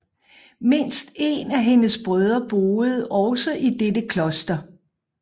Mindst en af hendes brødre boede også i dette kloster